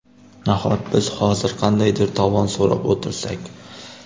Nahot biz hozir qandaydir tovon so‘rab o‘tirsak?